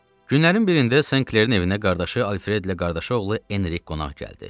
Günlərin birində Senklerin evinə qardaşı Alfredlə qardaşı oğlu Enrik qonaq gəldi.